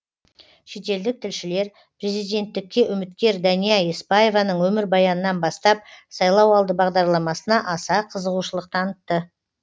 шетелдік тілшілер президенттікке үміткер дәния еспаеваның өмірбаянынан бастап сайлауалды бағдарламасына аса қызығушылық танытты